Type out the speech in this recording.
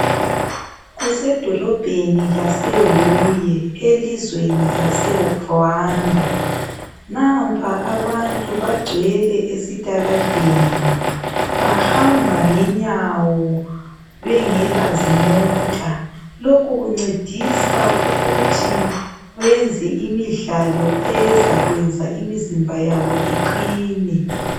Kusedolobheni lase Huye elizweni lase Rwanda, Nampa abantu bagcwele esitaladeni. Bahamba ngenyawo bengela zimota, lokhu kuncedisa ukuthi benze imidlalo ezakwenza imizimba yabo iqine.